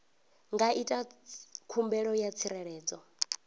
nga ita khumbelo ya tsireledzo